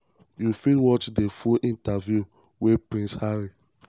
you fit watch di full interview wey um prince harry